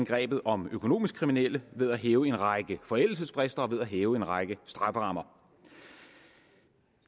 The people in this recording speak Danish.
grebet om økonomiske kriminelle ved at hæve en række forældelsesfrister og ved at hæve en række strafferammer